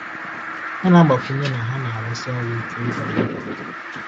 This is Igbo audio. Ọ na-agbakwunye na ha na-arụsi ọrụ ike ịdọ mmadụ ọdụ.